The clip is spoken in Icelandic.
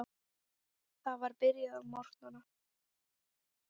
Það var byrjað að morgna.